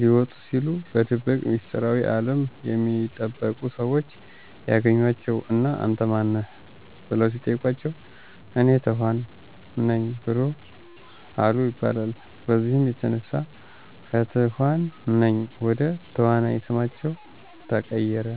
ሊወጡ ሲሉ በድብቅ ሚስጥራዊ አለም የሚጠበቁ ሰዎች ያገኟቸው እና አንተ ማን ነህ? በለው ሲጠይቋቸው፤ እኔ ተኋን ነኝ አሉ ይባላል። በዚህም የተነሳ ከትኋን ነኝ ወደ ተዋናይ ስማቸው ተቀየረ።